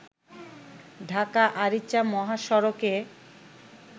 ঢাকা-আরিচা মহাসড়কে